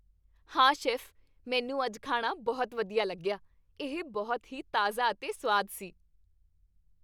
ਹਾਂ, ਸ਼ੈੱਫ, ਮੈਨੂੰ ਅੱਜ ਖਾਣਾ ਬਹੁਤ ਵਧੀਆ ਲੱਗਿਆ। ਇਹ ਬਹੁਤ ਹੀ ਤਾਜ਼ਾ ਅਤੇ ਸੁਆਦ ਸੀ।